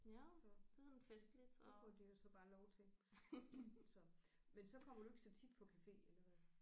Så det får de jo så bare lov til så men så kommer du ikke så tit på café eller hvad